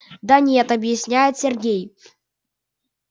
да нет объясняет сергей